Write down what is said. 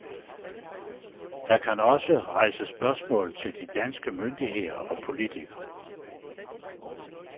Der kan også rejses spørgsmål til de danske myndigheder og politikere.